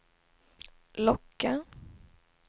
locka